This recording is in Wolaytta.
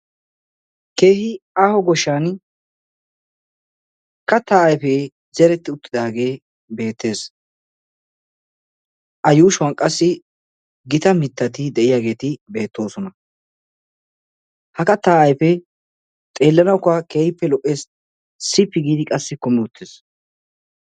Keehi aaho goshshan kattaa ayfee zeretti uttidaagee beettees. A yuushuwan qassi gita mittati de'iyaageeti beettoosona. Ha kattaa ayfee xeellanawukka keehippe lo'ees. Sippi giidi qassi kummi uttiis.